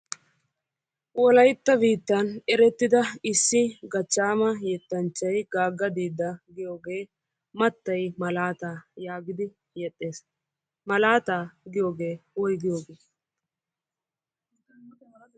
Wolaytta biittan issi erertida yettanchchay issi Gaaga Diida giyooge matay malata yaagidi yeexxes. Malataa giyooge woyggiyooge?